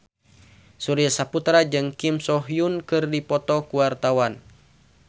Surya Saputra jeung Kim So Hyun keur dipoto ku wartawan